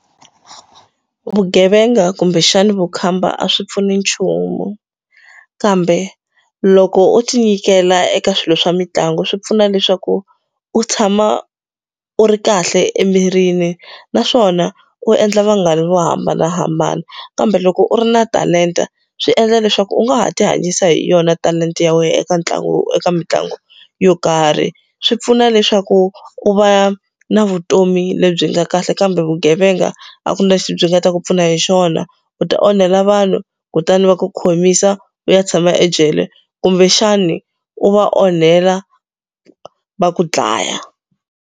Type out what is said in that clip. Vugevenga kumbexani vukhamba a swi pfuni nchumu kambe loko u ti nyikela eka swilo swa mitlangu swi pfuna leswaku u tshama u ri kahle emirini naswona u endla vanghana vo hambanahambana kambe loko u ri na talenta swi endla leswaku u nga ha ti hanyisa hi yona talenta ya wena eka ntlangu eka mitlangu yo karhi swi pfuna leswaku u va na vutomi lebyi nga kahle kambe vugevenga a ku na lexi byi nga ta ku pfuna hi xona u ta onhela vanhu kutani va ku khomisa u ya tshama ejele kumbexani u va onhela va ku dlaya.